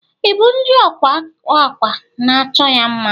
Ibu ndi ọkwa akwa na achọ ya mma.